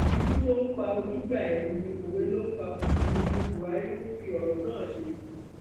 ikú tó ń pa ojúgbà ẹni òwe ló ń pa fún ni ni buhari ń fi ọrọ náà ṣe